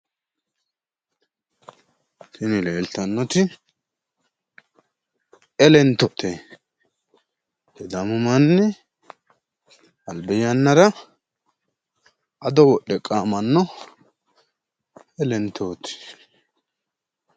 Tini leeltannoti elentote. Sidaamu manni albi yannara ado wodhe qaamanno elentooti.